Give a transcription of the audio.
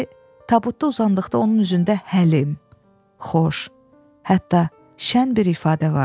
İndi tabutda uzandıqda onun üzündə həlim, xoş, hətta şən bir ifadə vardı.